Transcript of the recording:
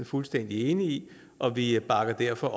fuldstændig enige i og vi bakker derfor